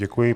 Děkuji.